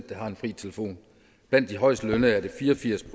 der har fri telefon blandt de højestlønnede er det fire og firs